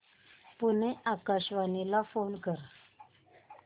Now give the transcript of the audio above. पुणे आकाशवाणीला फोन कर